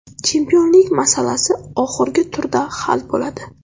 Chempionlik masalasi oxirgi turda hal bo‘ladi.